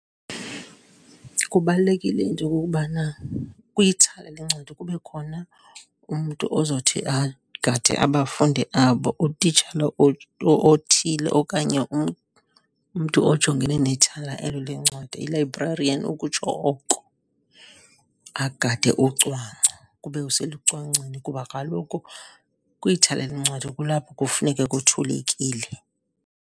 Kubalulekile into yokokubana kwithala lwencwadi kube khona umntu ozothi agade abafundi abo. Utitshala othile okanye umntu ojongene nethala elo lencwadi, i-librarian ukutsho oko, agade ucwangco, kube selucwangcweni. Kuba kaloku kwithala lwencwadi kulapho kufuneka kuthulekile.